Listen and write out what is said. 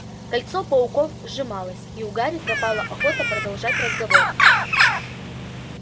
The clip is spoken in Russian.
кольцо пауков сжималось и у гарри пропала охота продолжать разговор